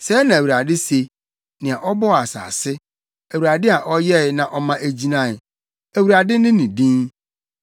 “Sɛɛ na Awurade se, nea ɔbɔɔ asase, Awurade a ɔyɛe na ɔma egyinae, Awurade ne ne din: